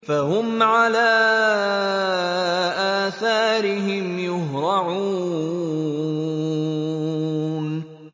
فَهُمْ عَلَىٰ آثَارِهِمْ يُهْرَعُونَ